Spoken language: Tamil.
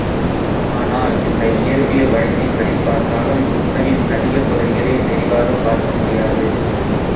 ஆனால் இந்த இயற்பியல் வழக்கின் படிப் பார்த்தாலும் புதனின் அதிகப் பகுதிகளை தெளிவாகப் பார்க்க முடியாது